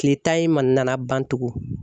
Kile tan in ma nana ban tugun